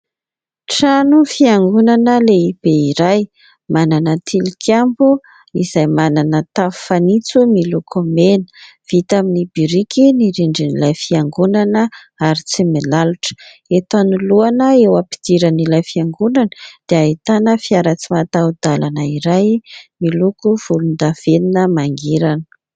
Trano fiangonana lehibe iray manana tilikambo izay manana tafo fanitso miloko mena vita amin'ny biriky ny rindrin'ilay fiangonana ary tsy milalotra. Eto anoloana eo am-pidiran'ilay fiangonana dia ahitana fiara tsy mataho-dalana iray miloko volondavenona mangirana.